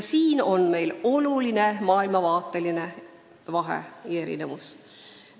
Tegu on olulise vahega maailmavaates.